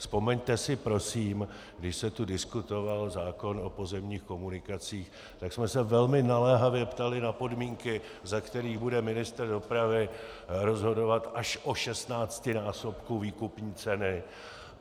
Vzpomeňte si prosím, když se tu diskutoval zákon o pozemních komunikacích, tak jsme se velmi naléhavě ptali na podmínky, za kterých bude ministr dopravy rozhodovat až o 16násobku výkupní ceny.